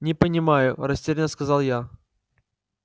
не понимаю растерянно сказал я